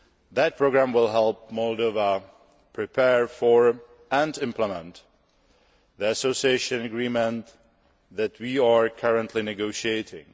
That programme will help Moldova prepare for, and implement, the Association Agreement that we are currently negotiating.